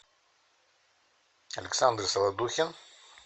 александр солодухин